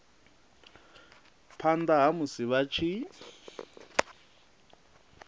phana ha musi vha tshi